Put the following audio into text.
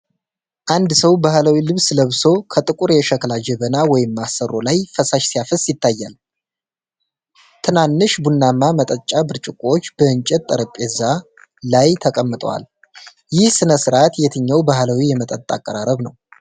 አንድ ሰው በባህላዊ ልብስ ለብሶ ከጥቁር የሸክላ ጀበና (ማሰሮ) ላይ ፈሳሽ ሲያፈስ ይታያል። ትናንሽ፣ ቡናማ መጠጫ ብርጭቆዎች በእንጨት ጠረጴዛ ላይ ተቀምጠዋል። ይህ ሥነ ሥርዓት የትኛው ባህላዊ የመጠጥ አቀራረብ ነው?